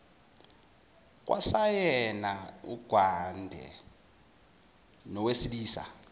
kwasayena ugadwe ngowesilisa